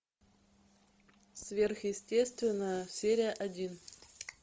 сверхъестественное серия один